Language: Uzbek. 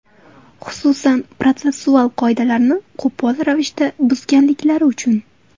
Xususan, protsessual qoidalarni qo‘pol ravishda buzganliklari uchun.